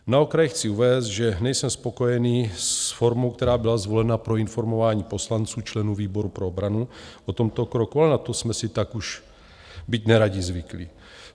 Na okraj chci uvést, že nejsem spokojený s formou, která byla zvolena pro informování poslanců, členů výboru pro obranu, o tomto kroku, ale na to jsme si tak už, byť neradi, zvykli.